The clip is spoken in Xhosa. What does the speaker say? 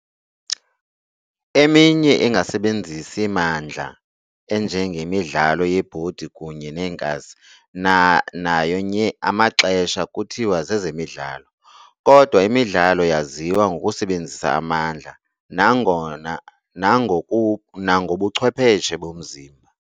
Eminye engasebenzisi mandla enjengemidlalo yebhodi kunye neenkasi nayo nye amaxhesha kuthiwa zezemidlalo, kodwa imidlalo yaziwa ngokusebenzisa amandla nangobuchwepheshe bomzimba.